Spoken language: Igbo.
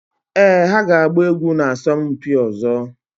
Éè ha ga-agba egwu na asọmpi ọzọ